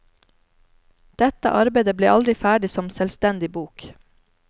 Dette arbeide ble aldri ferdig som selvstendig bok.